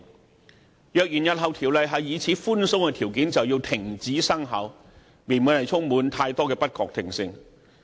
如果《條例草案》日後受到如此寬鬆的條件掣肘，動輒停止生效，未免充滿太多不確定性。